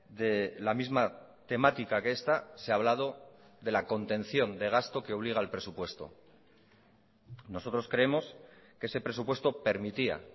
de la misma temática que esta se ha hablado de la contención de gasto que obliga al presupuesto nosotros creemos que ese presupuesto permitía